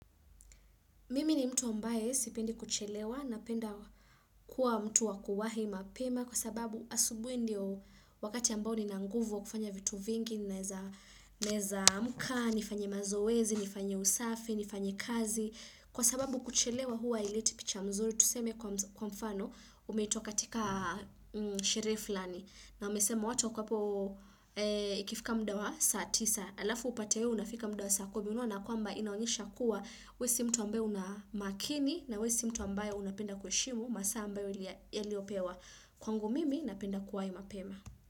Mimi ni mtu ambaye sipendi kuchelewa napenda kuwa mtu wa kuwahi mapema kwa sababu asubuhi ndio wakati ambao nina nguvu wa kufanya vitu vingi, naeza amka, nifanye mazoezi, nifanye usafi, nifanye kazi. Kwa sababu kuchelewa huwa haileti picha mzuri, tuseme kwa mfano umeitwa katika sherehe fulani. Na umesema watu hapo ikifika muda wa saa tisa, alafu upate unafika muda wa saa kumi una na kwamba inaonyesha kuwa, we si mtu ambaye una makini na we si mtu ambaye unapenda kuheshimu, masaa ma ambayo yaliyopewa. Kwangu mimi, napenda kuwa mapema.